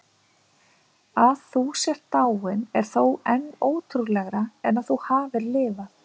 Að þú sért dáin er þó enn ótrúlegra en að þú hafir lifað.